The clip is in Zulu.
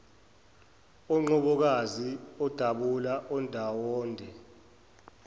onqobokazi odabula ondawonde